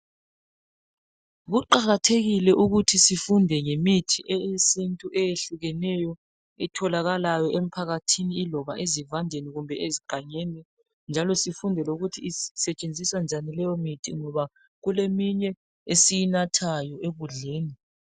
Kuqakathekile ukuthi sifunde ngemithi eyesintu eyehlukeneyo etholakalayo emphakathini yiloba ezivandeni kumbe ezigangeni njalo sifunde lokuthi isetshenziswa njani leyomithi ngoba kuleminye esiyinathayo ekudleni.